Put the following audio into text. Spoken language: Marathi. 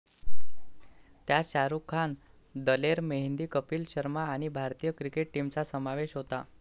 त्यात शाहरुख खान, दलेर मेहंदी, कपिल शर्मा आणि भारतीय क्रिकेट टीमचा समावेश होता.